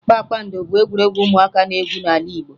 Kpakpankoro bụ egwuregwu ụmụaka na-egwu n'ala Igbo